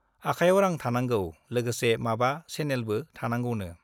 आखायाव रां थानांगौ , लोगोसे माबा सेनेलबो थानांगौनो ।